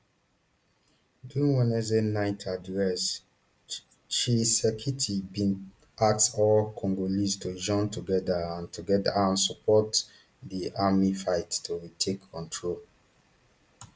during wednesday night address tshisekedi bin ask all congolese to join together and together and support di army fight to retake control